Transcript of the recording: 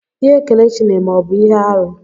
Ihe Kelechi na-eme abụ ihe arụ?